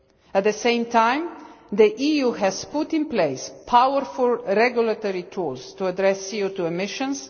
At the same time, the EU has put in place powerful regulatory tools to address CO2 emissions.